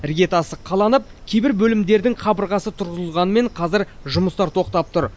іргетасы қаланып кейбір бөлімдердің қабырғасы тұрғызылғанымен қазір жұмыстар тоқтап тұр